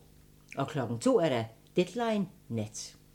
02:00: Deadline Nat